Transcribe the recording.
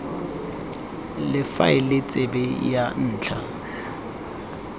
la faele tsebe ya ntlha